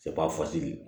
fasigi